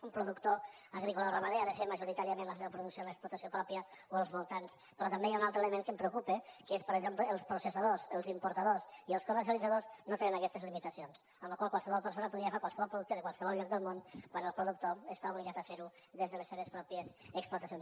un productor agrícola o ramader ha de fer majoritàriament la seva producció en l’explotació pròpia o als voltants però també hi ha un altre element que em preocupa que és que per exemple els processadors els importadors i els comercialitzadors no tenen aquestes limitacions per la qual cosa qualsevol persona podria agafar qualsevol producte de qualsevol lloc del món quan el productor està obligat a fer ho des de les seves pròpies explotacions